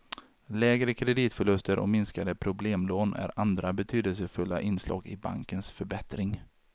Lägre kreditförluster och minskade problemlån är andra betydelsefulla inslag i bankens förbättring.